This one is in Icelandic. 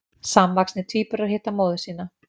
Samvaxnir tvíburar hitta móður sína